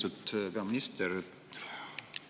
Lugupeetud peaminister!